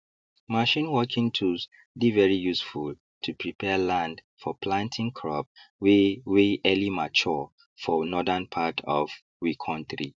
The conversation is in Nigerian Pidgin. machine working tools dey very useful to prepare land for planting crop wey wey early mature for northern part of we kontri